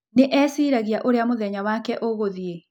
Nĩ eciragia ũrĩa mũthenya wake ũgũthiĩ.